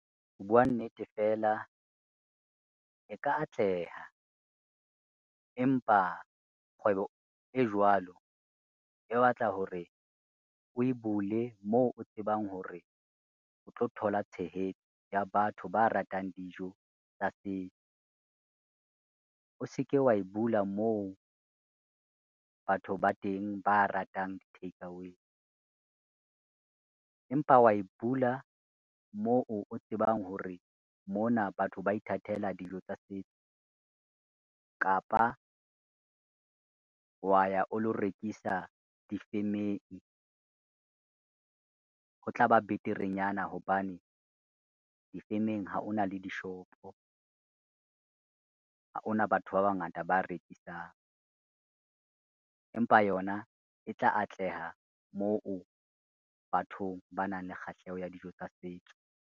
Ho bua nnete fela, e ka atleha empa kgwebo e jwalo e batla hore o e bule moo o tsebang hore o tlo thola tshehetso ya batho ba ratang dijo tsa setso. O se ke wa e bula moo batho ba teng ba ratang di-takeaway, empa wa e bula moo o tsebang hore mona batho ba ithatela dijo tsa setso, kapa wa ya o lo rekisa difemeng. Ho tla ba beterenyana, hobane difemeng ha ona le dishopo, ha ona batho ba bangata ba rekisang, empa yona e tla atleha moo bathong ba nang le kgahleho ya dijo tsa setso.